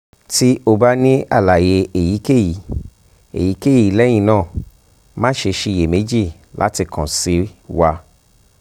ti o ba ni alaye eyikeyi eyikeyi lẹhinna ma ṣe ṣiyemeji lati kọ si wa